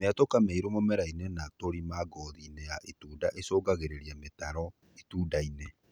Miatuka mĩirũ mũmerainĩ na tũrima ngothiinĩ ya itunda ĩcũngagĩrĩria mĩtaro itundainĩ